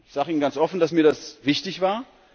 Ich sage Ihnen ganz offen, dass mir das wichtig war.